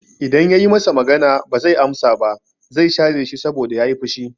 I dan yayi masa magana ba zai amsa ba, zai share shi saboda yayi fushi